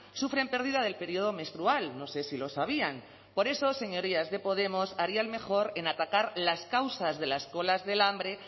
sufren pérdida del periodo menstrual no sé si lo sabían por eso señorías de podemos harían mejor en atacar las causas de las colas del hambre